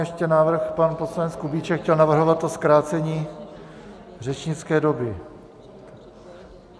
Ještě návrh, pan poslanec Kubíček chtěl navrhovat to zkrácení řečnické doby.